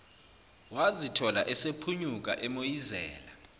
wazithola esephunyuka emoyizela